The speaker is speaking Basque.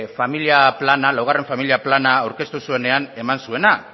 laugarren familia plana aurkeztu zuenean eman zuena